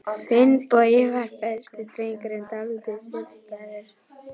Finnbogi var besti drengur, en dálítið sérstæður.